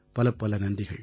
பலப்பல நன்றிகள்